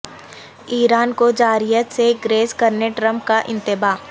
ایران کو جارحیت سے گریز کرنے ٹرمپ کا انتباہ